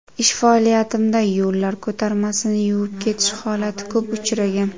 Ish faoliyatimda yo‘llar ko‘tarmasini yuvib ketish holati ko‘p uchragan.